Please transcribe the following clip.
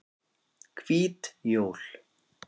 Hvít jól